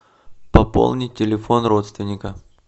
пополнить телефон родственника